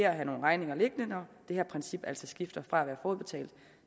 at have nogle regninger liggende når det her princip altså skifter fra forudbetaling